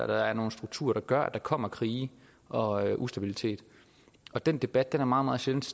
der er nogle strukturer der gør at der kommer krige og ustabilitet den debat er meget meget sjældent